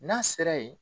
N'a sera yen